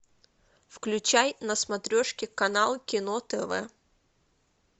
включай на смотрешке канал кино тв